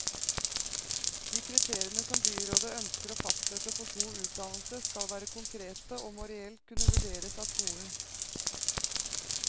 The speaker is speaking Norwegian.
De kriteriene som byrådet ønsker å fastsette for god utdannelse, skal være konkrete, og må reelt kunne vurderes av skolen.